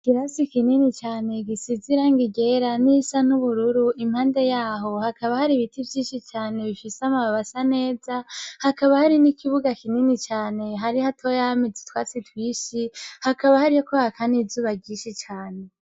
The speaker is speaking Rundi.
Ikirasi kinini cane gisize irangi ryera n'irisa n'ubururu, impande yaho hakaba hari ibiti vyinshi cane bifise amababi asa neza, hakaba hari n'ikibuga kinini cane, ahari hatoya hameze utwatsi twinshi, hakaba hariko haka n'izuba ryinshi cane.